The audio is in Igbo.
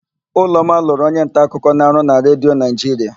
Ụlọma lụrụ onyenta akụkọ na-arụ na Redio Naịjiria.